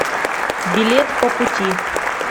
билет по пути